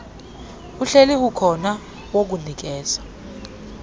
uhleli ukhona wokunikeza